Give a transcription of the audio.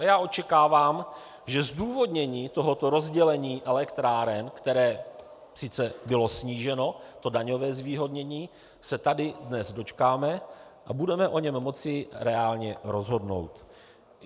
A já očekávám, že zdůvodnění tohoto rozdělení elektráren, které sice bylo sníženo, to daňové zvýhodnění, se tady dnes dočkáme a budeme o něm moci reálně rozhodnout.